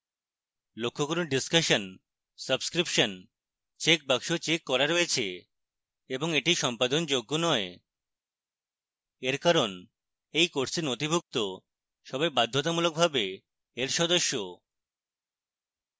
লক্ষ্য করুন discussion subscription checkbox checkbox করা রয়েছে এবং এটি সম্পাদনযোগ্য নয়